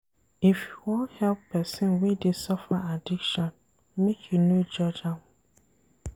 If you wan help pesin wey dey suffer addiction, make you no judge am.